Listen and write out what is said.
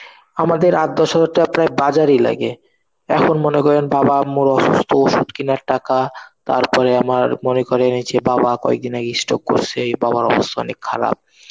আমাদের আট দশ হাজার টাকা প্রায় বাজার এই লাগে. এখন মনে করেন বাবা মোর অসুস্থ ওষুধ কেনার টাকা. তারপরে আমার মনে করে এনেছে বাবা কয়েকদিন আগে stroke করছে. বাবার অবস্থা অনেক খারাপ